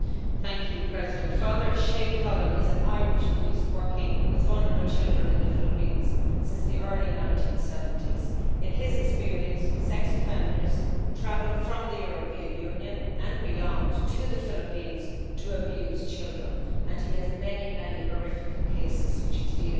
Mr President, Father Shay Cullen is an Irish priest working with vulnerable children in the Philippines since the early 1970s. In his experience, sex offenders travel from the European Union and beyond to the Philippines to abuse children, and he has many, many horrific cases which he is dealing with.